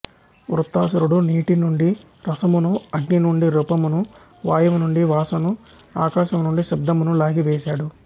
వృత్తాసురుడు నీటి నుండి రసమును అగ్ని నుండి రూపమును వాయువు నుండి వాసను ఆకాశము నుండి శబ్ధమును లాగి వేసాడు